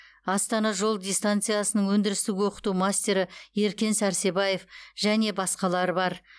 астана жол дистанциясының өндірістік оқыту мастері еркен сәрсебаев және басқалары бар